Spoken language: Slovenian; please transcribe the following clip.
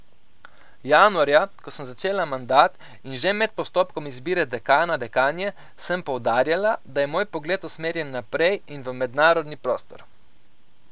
Januarja, ko sem začela mandat, in že med postopkom izbire dekana, dekanje sem poudarjala, da je moj pogled usmerjen naprej in v mednarodni prostor.